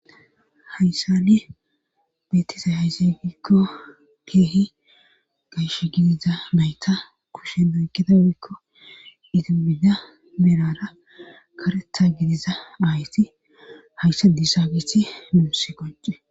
hayssani beettisa hayzigikko keehi gayshe gidiza mayta kushe moykida wuikko itimida merara karetha gidiza aayti hayssa disaagisi munsi qocce